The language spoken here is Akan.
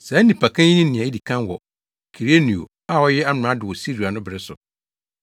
Saa nnipakan yi ne nea edi kan wɔ Kirenio a ɔyɛ amrado wɔ Siria no bere so.